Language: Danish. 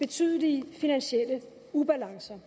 betydelige finansielle ubalancer